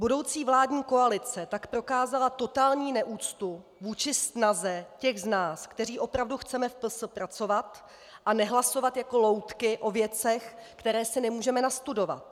Budoucí vládní koalice tak prokázala totální neúctu vůči snaze těch z nás, kteří opravdu chceme v PS pracovat a nehlasovat jako loutky o věcech, které si nemůžeme nastudovat.